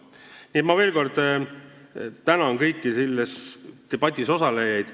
Nii et ma veel kord tänan kõiki selles debatis osalejaid.